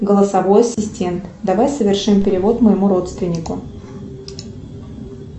голосовой ассистент давай совершим перевод моему родственнику